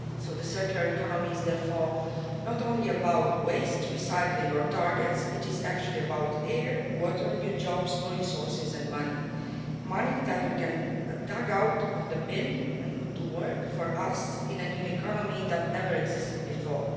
The circular economy is therefore not only about waste recycling or targets, it is actually about air, water, new jobs, new resources and money money that we can dig out of the bin and put to work for us in a new economy that never existed before.